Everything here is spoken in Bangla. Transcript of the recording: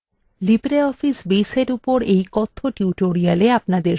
libreoffice base এর উপর এই কথ্য tutorial আপনাদের স্বাগত